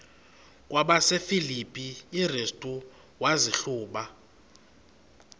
kwabasefilipi restu wazihluba